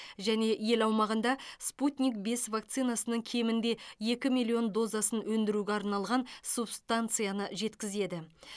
және ел аумағында спутник бес вакцинасының кемінде екі миллион дозасын өндіруге арналған субстанцияны жеткізеді